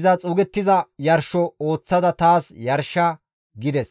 iza xuugettiza yarsho ooththada taas yarsha» gides.